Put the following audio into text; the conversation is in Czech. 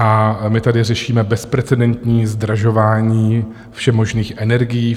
A my tady řešíme bezprecedentní zdražování všemožných energií.